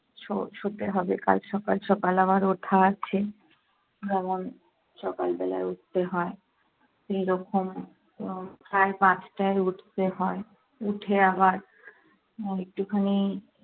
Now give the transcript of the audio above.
শ~ শুতে হবে কাল সকাল সকাল আবার ওঠা আছে। যেমন সকাল বেলায় উঠতে হয়, সেইরকম উম সাড়ে পাঁচটায় উঠতে হয় উঠে আবার আহ একটু খানি